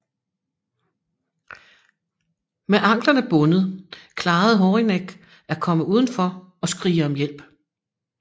Med anklerne bundet klarede Horinek at komme udenfor og skrige om hjælp